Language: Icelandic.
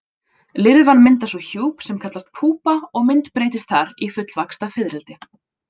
Lirfan myndar svo hjúp sem kallast púpa og myndbreytist þar í fullvaxta fiðrildi.